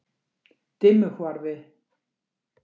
Dimmuhvarfi